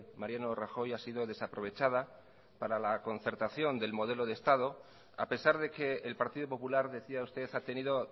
mariano rajoy ha sido desaprovechada para la concertación del modelo de estado a pesar de que el partido popular decía usted ha tenido